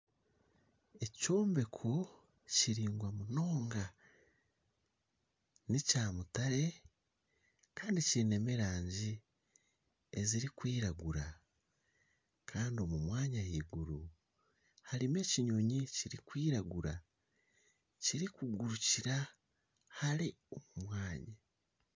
Ekyombeko kiraingwa munonga ni ekyamutare Kandi kyinemu erangi ezirikwiragura kandi omu mwanya ahaiguru harimu ekinyonyi kirikwiragura kyirikugurikira hare.